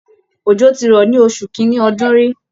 Òjò ti rọ̀ ní oṣù kín-ínní ọdún rí